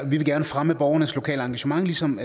vi vil gerne fremme borgernes lokale engagement ligesom